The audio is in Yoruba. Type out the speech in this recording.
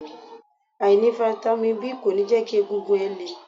Àìní Fáítámì B kò ní jẹ́ kí egungun ẹ le.